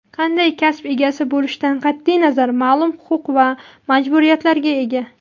qanday kasb egasi bo‘lishidan qat’iy nazar ma’lum huquq va majburiyatlarga ega.